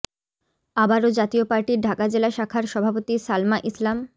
আবারও জাতীয় পার্টির ঢাকা জেলা শাখার সভাপতি সালমা ইসলাম